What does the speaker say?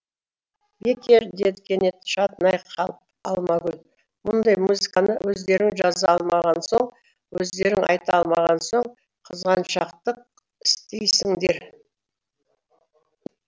бекер деді кенет шатынай қалып алмагүл мұндай музыканы өздерің жаза алмаған соң өздерің айта алмаған соң қызғаншақтық істейсіңдер